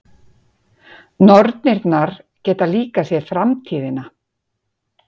Nornirnar geta líka séð framtíðina.